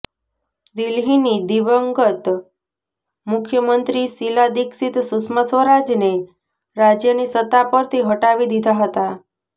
દિલ્હીની દિવંગત મુખ્યમંત્રી શીલા દીક્ષિત સુષ્મા સ્વરાજને રાજ્યની સત્તા પરથી હટાવી દીધા હતા